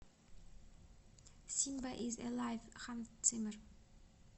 симба из элайв ханс циммер